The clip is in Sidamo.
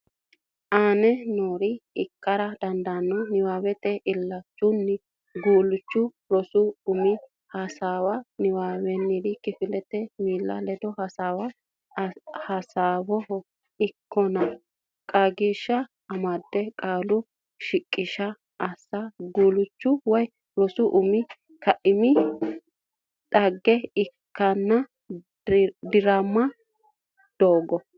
aane noore ikkara dandaanno Niwaawe illachishshanno guulchirenna rosu umire hasaawa Niwaawennire kifilete miilla ledo hasaawa Hasaawaho ikkanno qaagiishsha amada Qaalu shiqishsha assa Guulchu woy rosu umi kaiminni dhagge kiironna diraama godo.